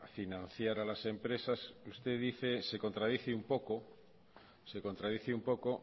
financiar a las empresas usted se contradice un poco